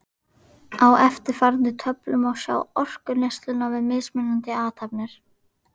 Á eftirfarandi töflu má sjá orkuneysluna við mismunandi athafnir.